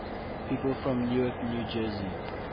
people from newark new jersey